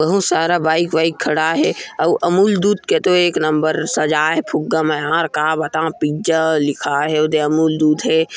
बहुत सारा बाइक-वाइक खड़ा हे अउ-अमूल दूध के तो एक नंबर सजाये हे फुग्गा में हर का बता पिज़्ज़ा लिखा हे उदे अमूल दूध हे ।